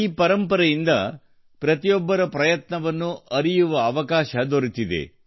ಈ ಪರಂಪರೆಯಿಂದ ಪ್ರತಿಯೊಬ್ಬರ ಪ್ರಯತ್ನವನ್ನೂ ಅರಿಯುವ ಅವಕಾಶ ದೊರೆತಿದೆ